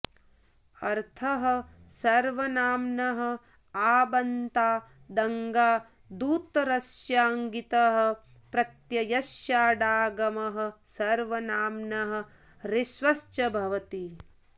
अर्थः सर्वनाम्नः आबन्तादङ्गादुत्तरस्य ङितः प्रत्ययस्य स्याडागमः सर्वनाम्नः ह्रस्वश्च भवति